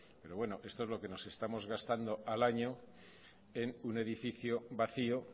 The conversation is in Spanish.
pero bueno esto es lo que nos estamos gastando al año en un edificio vacío